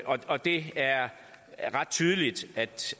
og det er ret tydeligt